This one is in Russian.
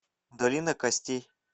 долина костей